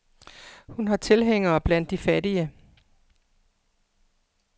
Hun har tilhængere blandt de fattige.